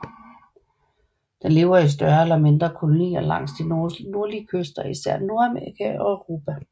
Den lever i større eller mindre kolonier langs de nordlige kyster af især Nordamerika og Europa